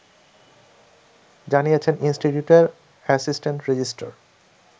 জানিয়েছেন ইনস্টিটিউটের assistant register